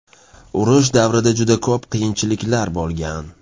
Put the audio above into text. Urush davrida juda ko‘p qiyinchiliklar bo‘lgan.